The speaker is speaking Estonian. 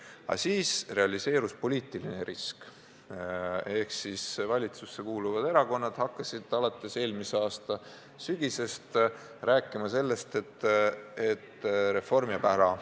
Aga siis realiseerus poliitiline risk: valitsusse kuuluvad erakonnad hakkasid alates eelmise aasta sügisest rääkima, et reform jääb ära.